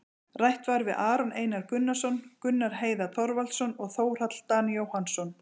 Rætt var við Aron Einar Gunnarsson, Gunnar Heiðar Þorvaldsson og Þórhall Dan Jóhannsson,